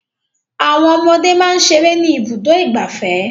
Àwọn ọmọdé máa ń ṣeré ní Ibùdó-ìgbafẹ́.